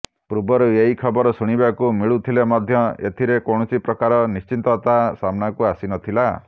ପୂର୍ବରୁ ଏହି ଖବର ଶୁଣିବାକୁ ମିଳୁଥିଲେ ମଧ୍ୟ ଏଥିରେ କୌଣସି ପ୍ରକାର ନିଶ୍ଚିତତା ସାମ୍ନାକୁ ଆସିନଥିଲା